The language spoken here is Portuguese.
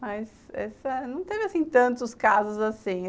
Mas essa... não teve tantos casos assim.